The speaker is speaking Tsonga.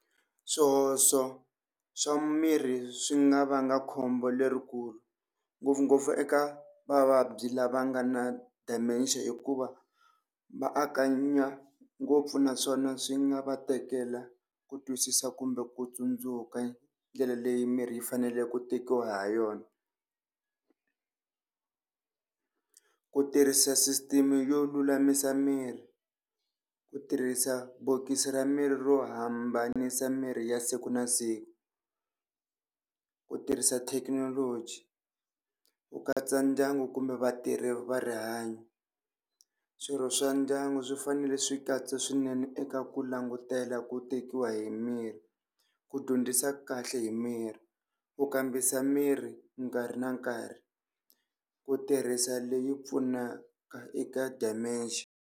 Swihoxo swa mirhi swi nga vanga khombo lerikulu, ngopfungopfu eka vavabyi lava nga na Dementia, hikuva va anakanya ngopfu naswona swi nga va tekela ku twisisa kumbe ku tsundzuka ndlela leyi mirhi yi faneleke ku tekiwa ha yona. Ku tirhisa sisiteme yo lulamisa mirhi, ku tirhisa bokisi ra mirhi ro hambanisa mirhi ya siku na siku, ku tirhisa thekinoloji, ku katsa ndyangu kumbe vatirhi va rihanyo. Swirho swa ndyangu swi fanele swi katsa swinene eka ku langutela ku tekiwa hi mirhi, ku dyondzisa kahle hi miri, ku kambisa miri nkarhi na nkarhi ku tirhisa leyi pfunaka eka Dementia.